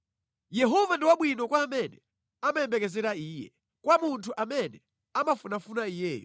Yehova ndi wabwino kwa amene amayembekezera Iye, kwa munthu amene amafunafuna Iyeyo;